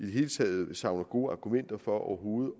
hele taget savner gode argumenter for overhovedet